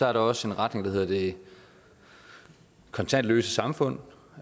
er der også en retning der hedder det kontantløse samfund